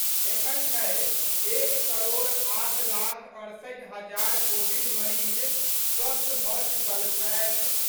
एखन धरि एक करोड़ आठ लाख अड़सठि हजार कोविड मरीज स्वस्थ भऽ चुकल छथि।